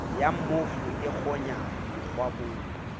ya mmofu e kgonya mokgwabong